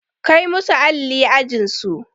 Kai musu alli ajin su!